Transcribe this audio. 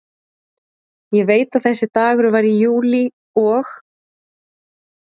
Ég veit að þessi dagur var í júlí og